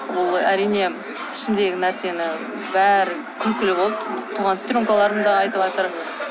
ол әрине ішімдегі нәрсені бәрі күлкілі болды туған сестренкаларым да айтыватыр